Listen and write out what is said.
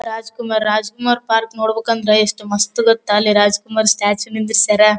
Rajkumar Rajkumar park ನೋಡಬೇಕಂದ್ರೆ ಎಷ್ಟ ಮಸ್ತ್ ಗೊತ್ತಾ ಅಲ್ಲಿ ರಾಜಕುಮಾರ್ ಸ್ಟ್ಯಾಚು ನಿಂದ್ರಿಸ್ಯರ್.